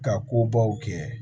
Ka kobaw kɛ